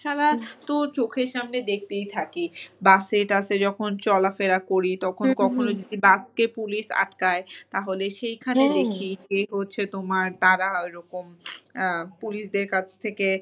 তাছাড়া তো চোখের সামনে দেখতেই থাকি। bus এ টাসে যখন চলাফেরা করি তখন কখনো যদি bus কে police আটকায় তাহলে সেখানে দেখি হচ্ছে তোমার তারা ওইরকম police দের কাছ থেকে,